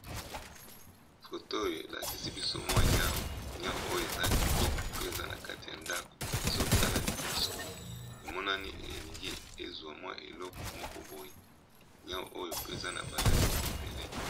Foto oyo elakisi biso mwa niau niau oyo eza kitoko pe eza na kati ya ndako ezotala liboso, emonani elingi ezwa mwa eleko moko boyi niau oyo pe eza na ba langi ebele.